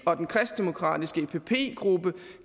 og den kristendemokratiske epp gruppe